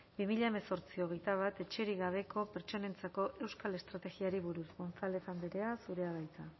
bi mila hemezortzi bi mila hogeita bat etxerik gabeko pertsonentzako euskal estrategiari buruz gonzález andrea zurea da hitza